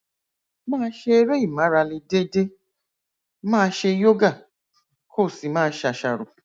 máa ṣe eré ìmárale déédéé máa ṣe yoga kó o sì máa ṣàṣàrò